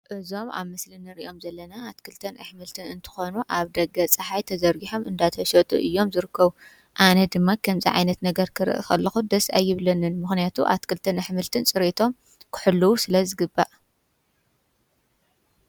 እዞም ኣብ ምስሊ እንሪኦም ዘለና ኣትክልትን ኣሕምልት እንትኾኑ ኣብ ደገ ፃሓይ ተዘርጊሖም እዳተሽጡ እዮም ዝርከቡ። ኣነ ድማ ከምዚ ዓይነት ነገር ክሪኢ ከለኹ ደስ ኣይብለንን፣ ምክንያቱ ኣትክልትን ኣሕምልትን ፅርየቶም ክሕልው ስለ ዝግባእ::